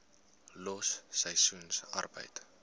los seisoensarbeid